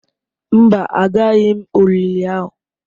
Mba, Agaraghị m olili ahụ.